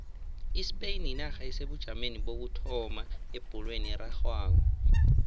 ispain yinarha esebujameni bokuthoma ebholweni erarhwako